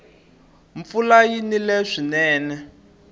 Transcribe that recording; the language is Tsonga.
mpfula yi nile swinene